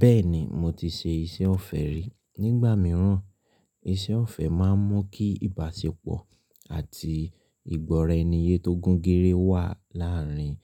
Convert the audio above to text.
Bẹ́ẹ̀ni mo ti ṣe iṣẹ́ ọ̀fẹ́ rí. Nígbà mìíràn, iṣẹ́ ọ̀fẹ́ máa ń mú kí ìbáṣepọ̀ àti ìgbọ́ra ẹniye tó gún gére wà láàárín